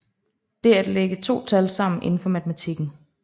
Det er at lægge to tal sammen inden for matematikken